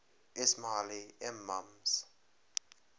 ismaili imams